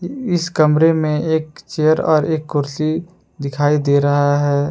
इस कमरे मे एक चेयर और एक कुर्सी दिखाई दे रहा है।